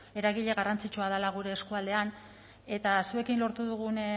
eragile garrantzitsua dela gure eskualdean eta zuekin lortu dugun